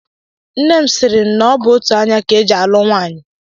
Nne m sịrị m na ọ bụ otú anya ka e ji alụ nwaanyị